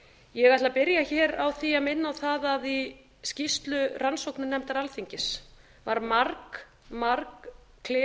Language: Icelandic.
ég ætla að byrja hér að minna á það að í skýrslu rannsóknarnefndar alþingis var fari margklifað